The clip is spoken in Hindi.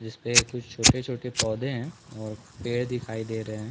जिसपे कुछ एक छोटे-छोटे पौधे है और कुछ पेड़ दिखाई दे रहे हैं।